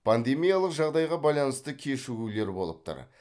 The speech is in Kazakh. пандемиялық жағдайға байланысты кешігулер болып тұр